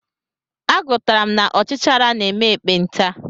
Agụtara m na ọchichara na-eme ekpenta.